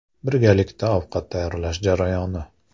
Birgalikda ovqat tayyorlash jarayoni.